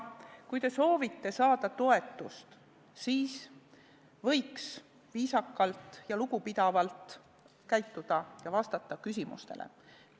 Kui te soovite toetust saada, siis võiks viisakalt ja lugupidavalt käituda ja küsimustele vastata.